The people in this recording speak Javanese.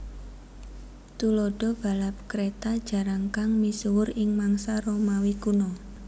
Thuladha balap kreta jarankang misuwur ing mangsa Romawi kuno